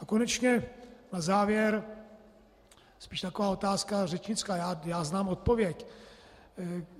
A konečně na závěr spíš taková otázka řečnická - já znám odpověď.